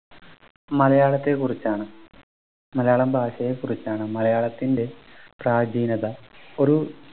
മലയാളത്തെക്കുറിച്ചാണ് മലയാളം ഭാഷയെ കുറിച്ചാണ് മലയാളത്തിൻ്റെ പ്രാചീനത ഒരു